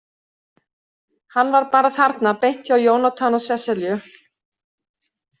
Hann var bara þarna beint hjá Jónatan og Sesselju.